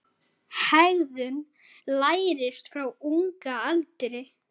Hegðun lærist frá unga aldri.